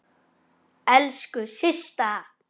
Elsku Systa!